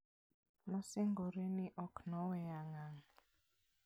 Nosingore ni ok noweya ngang'.